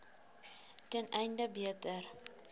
ten einde beter